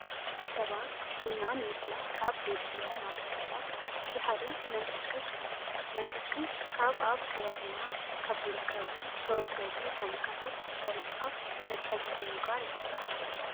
ሰባት ቡና ንምፍላሕ ካብ ዘድልዮም ማተርያላት እቲ ሓደ መንከሽከሽ እዩ። መንከሽከሽ ካብ ኣብ ከባቢና ካብ ዝርከቡ ዝተወገዱ ታኒካታት ቆርፅካ መትሓዚ ብምግባር ይስራሕ።